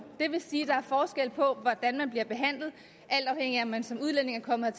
det vil sige at der er forskel på hvordan man bliver behandlet alt afhængigt af om man som udlænding er kommet